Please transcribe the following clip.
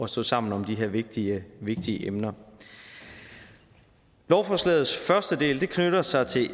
stå sammen om de her vigtige vigtige emner lovforslagets første del knytter sig til